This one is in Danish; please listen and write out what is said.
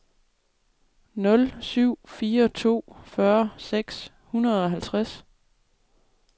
nul syv fire to fyrre seks hundrede og halvtreds